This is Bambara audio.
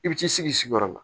I bi t'i sigi i sigiyɔrɔ la